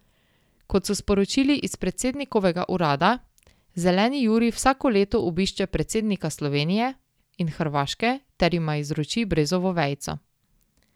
Kot so sporočili iz predsednikovega urada, Zeleni Jurij vsako leto obišče predsednika Slovenije in Hrvaške ter jima izroči brezovo vejico.